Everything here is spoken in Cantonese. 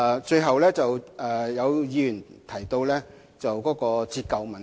最後，有議員提及折舊的問題。